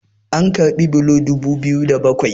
an karbi bulo dubu biyu da bakwai